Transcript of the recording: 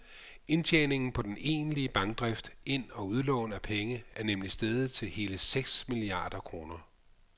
Indtjeningen på den egentlige bankdrift, ind og udlån af penge, er nemlig steget til hele seks milliarder kroner.